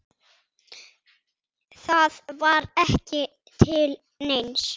Það var ekki til neins.